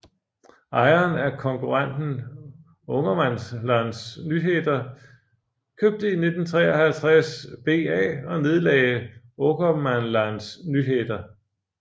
Ejeren af konkurrenten Ångermanlands Nyheter købte i 1953 VA og nedlagde Ångermanlands Nyheter